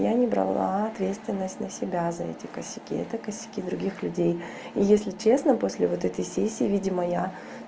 я не брала ответственность на себя за эти косяки какие-то косяки других людей и если честно после вот этой сессии видимо я